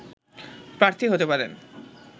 প্রার্থী হতে পারেন